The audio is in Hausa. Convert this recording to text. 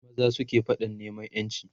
maza sukayi faɗan neman ƴanci